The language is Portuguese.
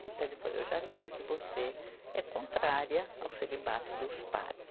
Então ele falou, eu já sei que você é contrária ao celibato dos padres.